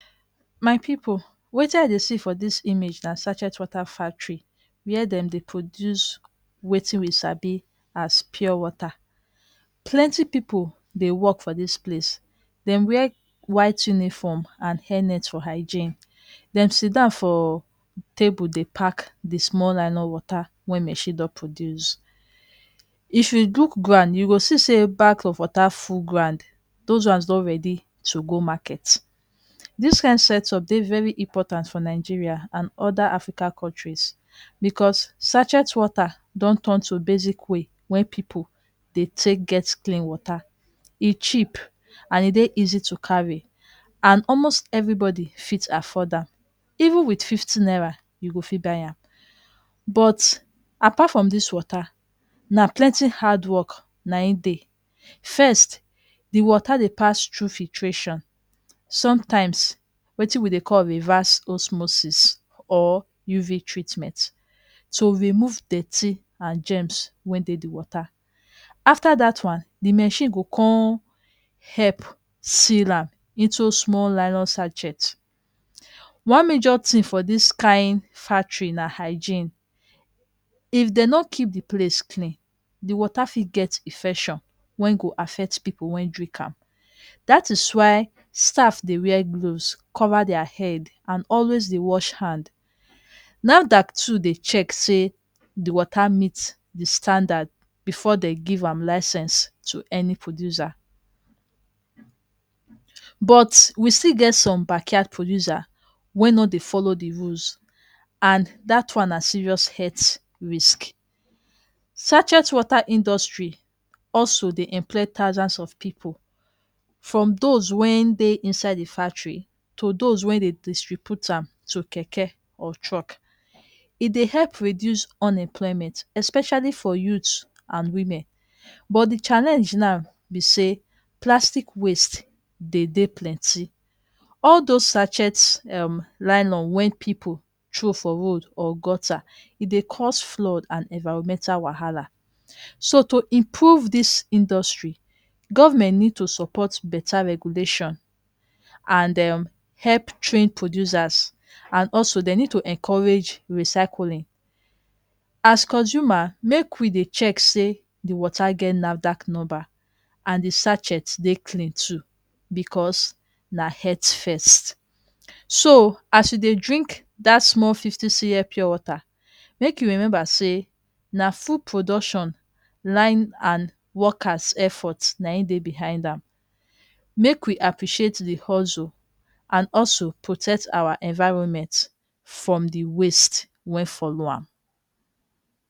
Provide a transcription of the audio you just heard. my pipo wetin i dey see for dis image na sarchetwater factarye whear dem dey produce wetin we sabi as pure water plenty pipo dey work for dis place dem wear whighte uniform and henet for higane dem sida for table dey pack di small line o water wen mesida produce if you look ground you go see say bags of water full ground those ones don alredi to go marketdi